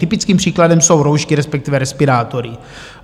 Typickým příkladem jsou roušky, respektive respirátory.